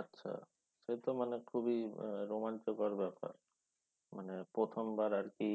আচ্ছা সে তো মানে খুবই আহ রোমাঞ্চকর ব্যাপার মানে প্রথমবার আর কি